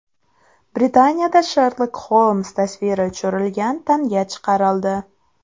Britaniyada Sherlok Xolms tasviri tushirilgan tanga chiqarildi.